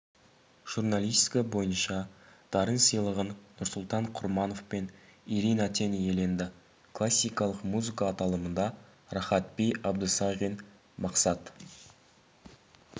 журналистика бойынша дарын сыйлығын нұрсұлтан құрманов пен ирина тен иеленді классикалық музыка аталымында рахат-би абдысағин мақсат